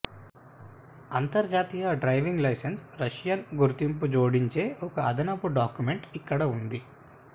అంతర్జాతీయ driving licence Russian గుర్తింపు జోడించే ఒక అదనపు డాక్యుమెంట్ ఇక్కడ ఉంది